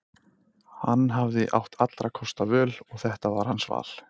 Hann hafði átt allra kosta völ og þetta var hans val.